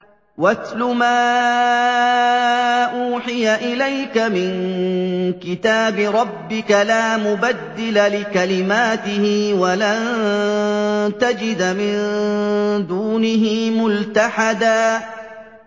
وَاتْلُ مَا أُوحِيَ إِلَيْكَ مِن كِتَابِ رَبِّكَ ۖ لَا مُبَدِّلَ لِكَلِمَاتِهِ وَلَن تَجِدَ مِن دُونِهِ مُلْتَحَدًا